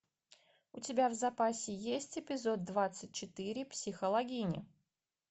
у тебя в запасе есть эпизод двадцать четыре психологини